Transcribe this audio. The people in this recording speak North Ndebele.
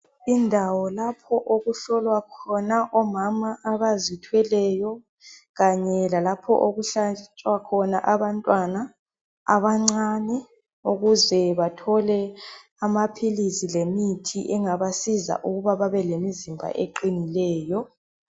Indawo lapho okuhlolwa khona omama abazithweleyo lalapho okuhlatshwa khona abantwana ukuze bathole amaphilisi lemithi engabasiza ukuba babe lemizimba eqinileyo